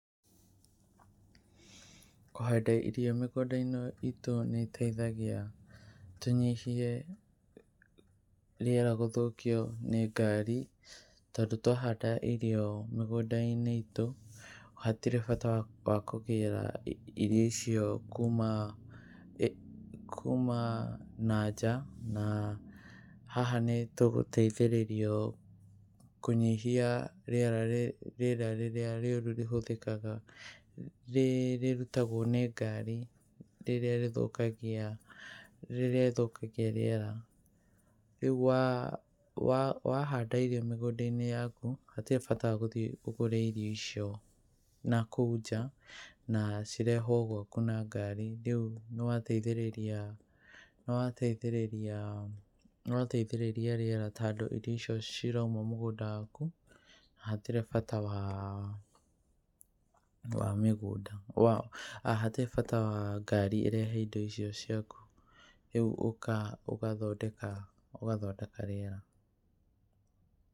Kũhanda irio mĩgũnda-inĩ itũ nĩ ĩteithagia tũnyihie rĩera gũthũkio nĩ ngari, tondũ twahanda irio mĩgũnda-inĩ itũ hatirĩ bata wa kũgĩra irio icio kuma na nja na haha nĩ tũgũteithĩrĩria kũnyihia rĩera rĩrĩa rĩũru rĩhũthĩkaga rĩrutagwo nĩ ngari rĩrĩa rĩthũkagia rĩera. Rĩu wahanda irio mĩgũnda-inĩ yaku hatirĩ bata wa gũthiĩ ũgũre irio icio na kũu nja na cirehwo gwaku na ngari. Rĩu nĩ wateithĩrĩria rĩera tondũ irio icio cirauma mũgũnda waku hatirĩ bata wa ngari ĩrehe indo icio ciaku. Rĩu ũgathondeka rĩera.